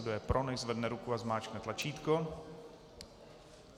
Kdo je pro, nechť zvedne ruku a zmáčkne tlačítko.